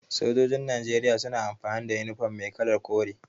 Sojojin Najeriya suna amfani da inifom mai kalar kore.